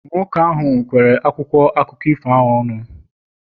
nwoke ahụ kwere akwụkwọ akụkọ ifo ọnụ